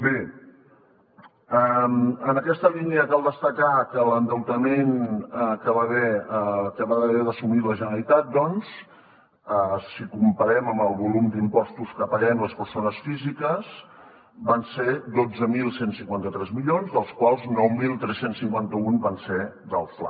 bé en aquesta línia cal destacar que l’endeutament que va haver d’assumir la generalitat doncs si comparem amb el volum d’impostos que paguem les persones físiques van ser dotze mil cent i cinquanta tres milions dels quals nou mil tres cents i cinquanta un van ser del fla